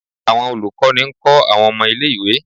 awọn olukọni nkọ awọn ọmọ ìlé-ìwé